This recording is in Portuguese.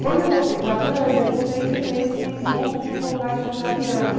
Quando eu voltei para a França, eu voltei com esse impulso de voltar a estudar piano.